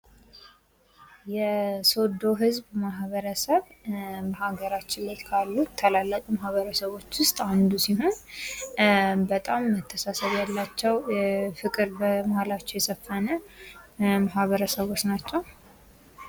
የሶዶ ህዝብ ማህበረሰብ አገራችን ላይ ካሉ ታላላቅ ማህበረሰቦች ዉስጥ አንዱ ሲሆን በጣም መተሳሰብ ያላቸዉ ፍቅር በመሀላቸዉ የሰፈነ ማህበረሰቦች ናቸዉ።